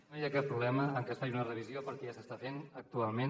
no hi ha cap problema en que es faci una revisió perquè ja s’està fent actualment